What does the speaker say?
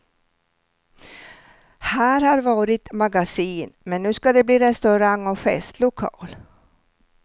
Här har varit magasin, men nu skall det bli restaurang och festlokal.